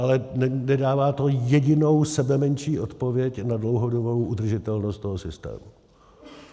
Ale nedává to jedinou sebemenší odpověď na dlouhodobou udržitelnost toho systému.